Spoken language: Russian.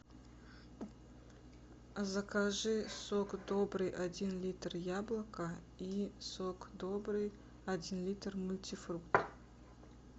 закажи сок добрый один литр яблоко и сок добрый один литр мультифрукт